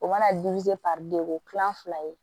O mana o kilan fila ye